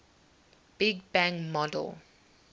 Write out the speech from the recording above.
big bang model